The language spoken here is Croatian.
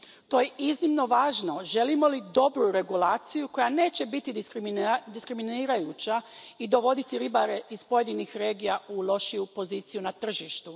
To je iznimno važno želimo li dobru regulaciju koja neće biti diskriminirajuća i dovoditi ribare iz pojedinih regija u lošiju poziciju na tržištu.